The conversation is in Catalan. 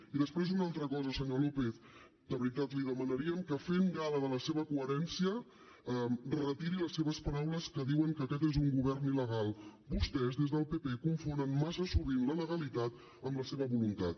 i després una altra cosa senyor lópez de veritat li demanaríem que fent gala de la seva coherència retiri les seves paraules que diuen que aquest és un govern illegalitat amb la seva voluntat